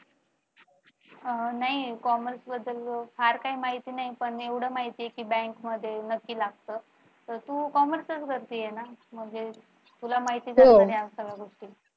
अह नाही commerce बद्दल फार काही माहिती नाहीये पण एवढं माहिती आहे की bank मध्ये नक्की लागतं तु commerce च करते ना म्हणजे तुला माहीतच असणार या सगळ्या गोष्टी